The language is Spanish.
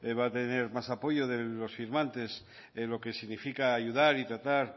va a tener más apoyo de los firmantes de lo que significa ayudar y tratar